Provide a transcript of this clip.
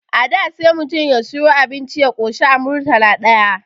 A da sai mutum ya siyu abinci ya koshi a Murtala ɗaya